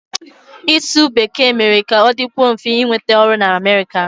Ịsụ Bekee mere ka ọ dịkwuo mfe ịnweta ọrụ na America.